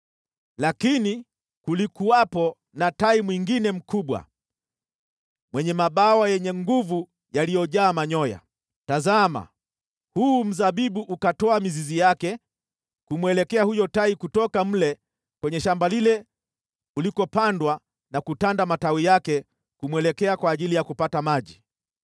“ ‘Lakini kulikuwa na tai mwingine mkubwa, mwenye mabawa yenye nguvu yaliyojaa manyoya. Tazama! Huu mzabibu ukatoa mizizi yake kumwelekea huyo tai kutoka mle kwenye shamba lile ulikopandwa na kutanda matawi yake kumwelekea kwa ajili ya kupata maji.